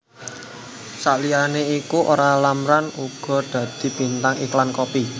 Saliyané iku Olla Ramlan uga dadi bintang iklan kopi